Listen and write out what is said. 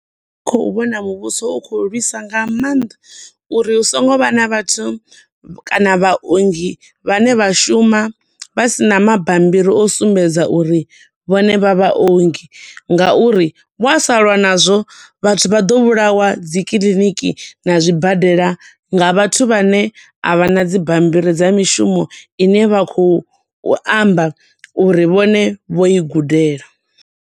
Khou vhona muvhuso u khou lwisa nga maanḓa uri hu so ngo vha na vhathu kana vha ongi vhane vha shuma vha sina mabammbiri o sumbedza uri vhone vha vha ongi, nga uri wa sa lwa na zwo vhathu vha ḓo vhulawa dzi kiḽiniki, na zwi badela, nga vhathu vhane avhana dzi bammbriri dza mishumo ine vha khou amba uri vhone vho i gudela.